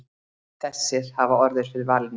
Þessir hafi orðið fyrir valinu.